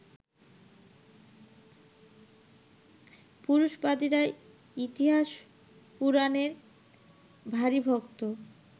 পুরুষবাদীরা ইতিহাস-পুরাণের ভারি ভক্ত